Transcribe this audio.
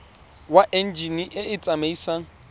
wa enjine e e tsamaisang